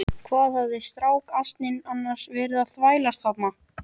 Hvað hafði strákasninn annars verið að þvælast þarna?